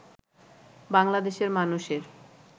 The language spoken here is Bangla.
বাংলাদেশের মানুষের